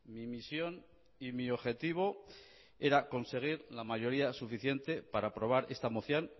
mi misión y mi objetivo era conseguir la mayoría suficiente para aprobar esta moción